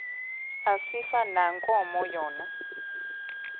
asifani nankomo yona